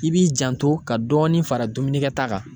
I b'i janto ka dɔɔni fara dumunikɛta kan.